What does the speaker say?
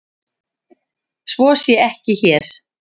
Svo sé ekki hér.